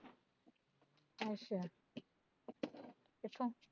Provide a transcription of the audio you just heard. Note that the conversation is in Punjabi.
ਅੱਛਾ ਕਿਥੋਂ